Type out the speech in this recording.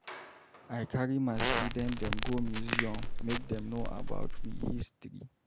I carry my student dem go museum make dem know about we history.